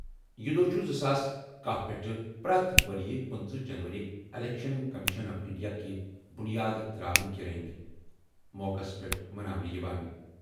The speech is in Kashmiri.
یہِ دۄہ چُھ زٕ ساس کہہ پیٚٹھٕ پرٛٮ۪تھ ؤرِیہِ 25 جنوری اِلیٚکشَن کٔمِشن آف اِنٛڈیا کہِ بُنیاد ترٛاونہٕ کہِ رٔنگۍ موقعس پیٚٹھ مَناونہٕ یِوان۔